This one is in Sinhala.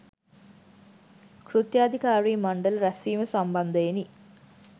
කෘත්‍යාධිකාරි මණ්ඩල රැස්වීම සම්බන්ධයෙනි